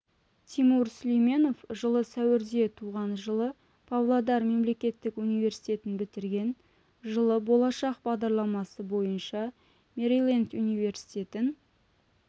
тимур сүлейменов жылы сәуірде туған жылы павлодар мемлекеттік университетін бітірген жылы болашақ бағдарламасы бойынша мэриленд университетін